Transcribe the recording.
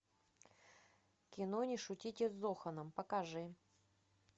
кино не шутите с зоханом покажи